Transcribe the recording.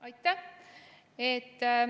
Aitäh!